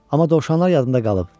Amma dovşanlar yadımda qalıb.